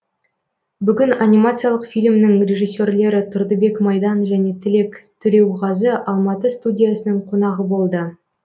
бүгін анимациялық фильмнің режиссерлері тұрдыбек майдан және тілек төлеуғазы алматы студиясының қонағы болды